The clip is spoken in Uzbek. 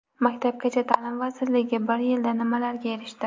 Maktabgacha ta’lim vazirligi bir yilda nimalarga erishdi?.